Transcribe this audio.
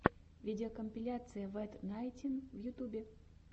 видеокомпиляция вэт найнтин в ютубе